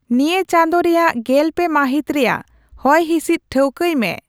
ᱱᱤᱭᱟᱹ ᱪᱟᱸᱫᱳ ᱨᱮᱭᱟᱜ ᱜᱮᱞᱯᱮ ᱢᱟᱹᱦᱤᱛ ᱨᱮᱭᱟᱜ ᱦᱚᱭᱦᱤᱥᱤᱫ ᱴᱷᱟᱹᱣᱠᱟᱹᱭ ᱢᱮ